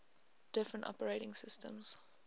different operating systems